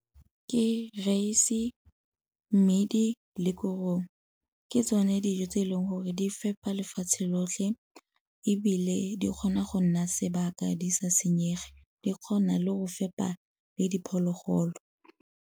Ke rice-e, mmidi le korong. Ke tsone dijo tse e leng gore di fepa lefatshe lotlhe ebile di kgona go nna sebaka di sa senyege. Di kgona le go fepa le diphologolo.